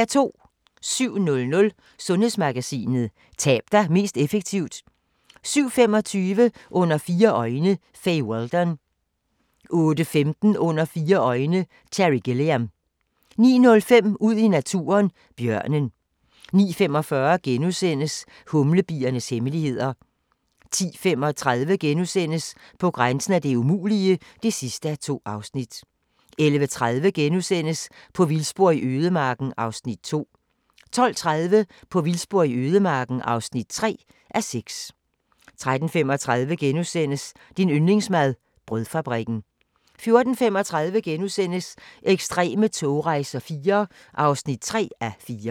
07:00: Sundhedsmagasinet: Tab dig mest effektivt 07:25: Under fire øjne – Fay Weldon 08:15: Under fire øjne – Terry Gilliam 09:05: Ud i naturen: Bjørnen 09:45: Humlebiernes hemmeligheder * 10:35: På grænsen af det umulige (2:2)* 11:30: På vildspor i ødemarken (2:6)* 12:30: På vildspor i ødemarken (3:6) 13:35: Din yndlingsmad: Brødfabrikken * 14:35: Ekstreme togrejser IV (3:4)*